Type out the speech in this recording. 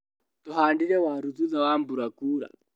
Tũhandire waru thutha wa mbura kura.